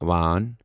وآن